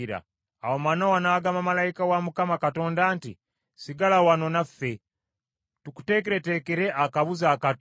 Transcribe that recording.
Awo Manowa n’agamba malayika wa Mukama Katonda nti, “Sigala wano naffe, tukuteekereteekere akabuzi akato.”